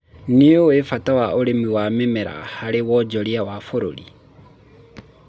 nĩũĩ mbata wa ũrĩmi wa mĩmera haro wonjoria wa bũrũri